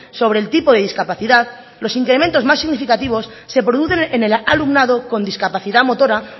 sobre el tipo de discapacidad los incrementos más significativos se producen en el alumnado con discapacidad motora